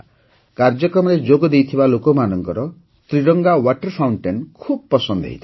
କାର୍ଯ୍ୟକ୍ରମରେ ଯୋଗଦେଇଥିବା ଲୋକମାନଙ୍କ ତ୍ରିରଙ୍ଗା ୱାଟର ଫାଉଣ୍ଟେନ୍ ଖୁବ୍ ପସନ୍ଦ ହୋଇଥିଲା